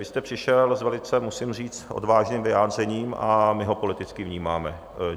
Vy jste přišel s velice, musím říct, odvážným vyjádřením a my ho politicky vnímáme.